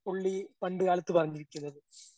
പുള്ളീ പണ്ട്കാലത്ത് പറഞ്ഞിരിക്കുന്നത്.